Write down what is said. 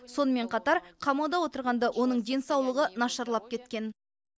сонымен қатар қамауда отырғанда оның денсаулығы нашарлап кеткен